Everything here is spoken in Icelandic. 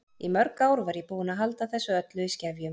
Í mörg ár var ég búin að halda þessu öllu í skefjum.